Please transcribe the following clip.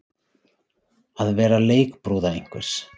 Að vera leikbrúða einhvers